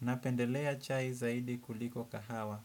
Napendelea chai zaidi kuliko kahawa.